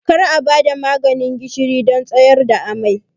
Kar a ba da maganin gishiri don tsayar da amai!